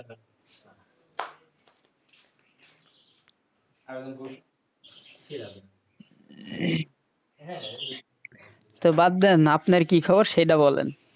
তো বাদ দেন আপনার কি খবর সেইটা বলেন,